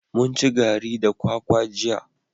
Mun ci gari da kwakwa jiya.